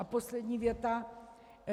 A poslední věta: